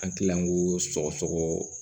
An kila ko sɔgɔ sɔgɔ